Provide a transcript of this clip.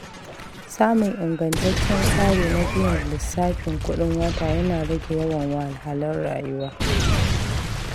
Samun ingantaccen tsari na biyan lissafin kuɗin wata yana rage yawan wahalhalun rayuwa.